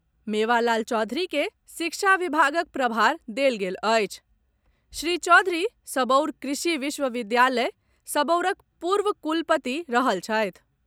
मेवालाल चौधरी के शिक्षा विभागक प्रभार देल गेल अछि श्री चौधरी सबौर कृषि विश्वविद्यालय, सबौरक पूर्व कुलपति रहल छथि।